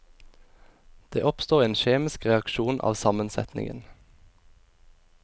Det oppstår en kjemisk reaksjon av sammensetningen.